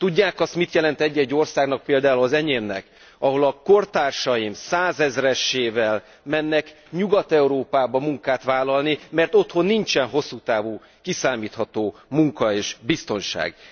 Tudják azt, mit jelent egy egy országnak, például az enyémnek, ahol a kortársaim százezresével mennek Nyugat Európába munkát vállalni, mert otthon nincsen hosszú távú kiszámítható munka és biztonság?